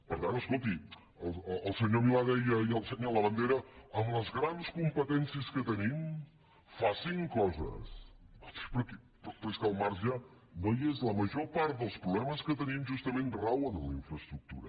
per tant escolti el senyor milà deia ahir al senyor labandera amb les grans competències que tenim facin coses però és que el marge no hi és la major part dels problemes que tenim justament rauen en la infraestructura